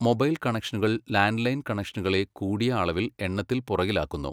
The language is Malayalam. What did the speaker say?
മൊബൈൽ കണക്ഷനുകൾ ലാൻഡ്ലൈൻ കണക്ഷനുകളെ കൂടിയ അളവിൽ എണ്ണത്തിൽ പുറകിലാക്കുന്നു.